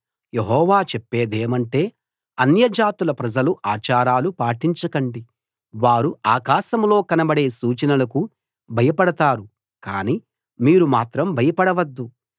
యెహోవా చెప్పేదేమంటే అన్యజాతుల ప్రజల ఆచారాలు పాటించకండి వారు ఆకాశంలో కనబడే సూచనలకు భయపడతారు కానీ మీరు మాత్రం భయపడవద్దు